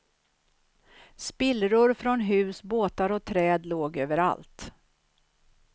Spillror från hus, båtar och träd låg överallt.